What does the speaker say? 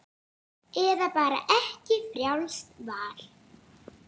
Eða bara ekki, frjálst val.